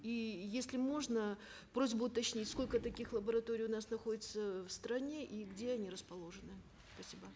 и если можно просьба уточнить сколько таких лабораторий у нас находится в стране и где они расположены спасибо